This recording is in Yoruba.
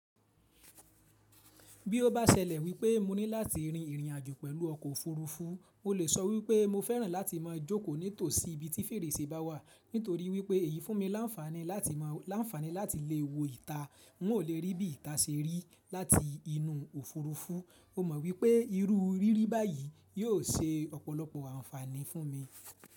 Bí ó bá ṣẹlẹ̀ wípé mo ní láti rìn ìrìnàjò pẹ̀lú ọkọ̀ òfurufú, mo lè sọ wípé mo fẹ́ràn láti máa jókòó nítòsí ibi tí fèrèsé bá wà, nítorí wípé èyí fún mi láńfàní láti lè wo ìta. N ò lè rí bí ìta ṣe rí láti inú òfurufú. O mọ wípé irú rírí báyìí yóò ṣe ọ̀pọ̀lọpọ̀ àǹfààní fún mi.